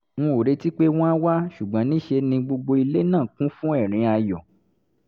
n ò retí pé wọ́n á wá ṣùgbọ́n ní í ṣe ni gbogbo ilé náà kún fún ẹ̀rín ayọ̀